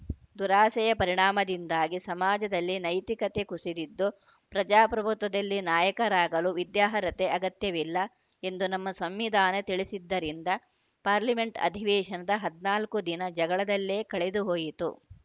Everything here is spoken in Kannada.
ದುರಾಸೆಯ ಪರಿಣಾಮದಿಂದಾಗಿ ಸಮಾಜದಲ್ಲಿ ನೈತಿಕತೆ ಕುಸಿದಿದ್ದು ಪ್ರಜಾಪ್ರಭುತ್ವದಲ್ಲಿ ನಾಯಕ ರಾಗಲು ವಿದ್ಯಾರ್ಹತೆ ಅಗತ್ಯವಿಲ್ಲ ಎಂದು ನಮ್ಮ ಸಂವಿಧಾನ ತಿಳಿಸಿದ್ದರಿಂದ ಪಾರ್ಲಿಮೆಂಟ್‌ ಅಧಿವೇಶನದ ಹದಿನಾಲ್ಕು ದಿನ ಜಗಳದಲ್ಲೇ ಕಳೆದುಹೋಯಿತು